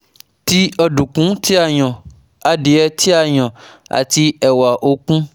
ti ọdunkun ti a yan, adie ti a yan ati ewa okun